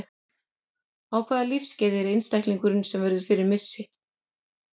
Á hvaða lífsskeiði er einstaklingurinn sem verður fyrir missi?